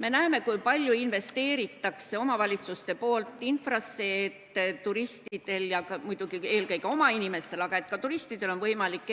Me näeme, kui palju investeerivad omavalitsused infrasse, et eelkõige oma inimestel, aga ka turistidel on võimalik